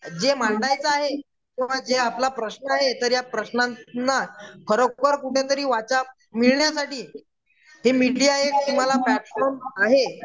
जे मांडायचं आहे किंवा जे आपला प्रश्न आहे तर ह्या खरोखर कुठेतरी वाचा मिळण्यासाठी ते मीडिया हे तुम्हाला प्लॅटफॉर्म आहे.